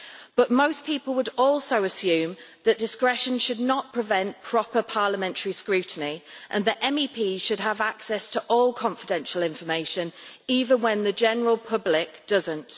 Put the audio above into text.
But most people would also assume that discretion should not prevent proper parliamentary scrutiny and that MEPs should have access to all confidential information even when the general public does not.